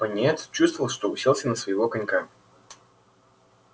пониетс чувствовал что уселся на своего конька